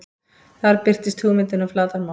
Þar birtist hugmyndin um flatarmál.